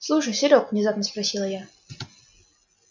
слушай серёг внезапно спросила я